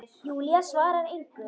Júlía svarar engu.